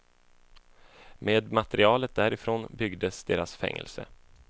Med materialet därifrån byggdes deras fängelse.